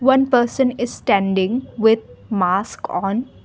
one person is standing with a mask on.